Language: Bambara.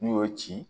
N'u y'o ci